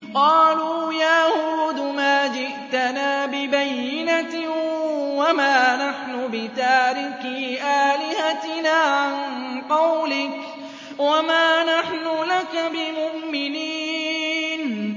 قَالُوا يَا هُودُ مَا جِئْتَنَا بِبَيِّنَةٍ وَمَا نَحْنُ بِتَارِكِي آلِهَتِنَا عَن قَوْلِكَ وَمَا نَحْنُ لَكَ بِمُؤْمِنِينَ